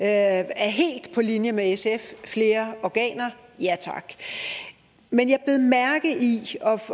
er helt på linje med sf flere organer ja tak men jeg bed mærke i